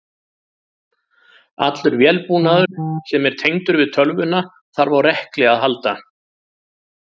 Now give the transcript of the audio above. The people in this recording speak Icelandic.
Allur vélbúnaður sem er tengdur við tölvuna þarf á rekli að halda.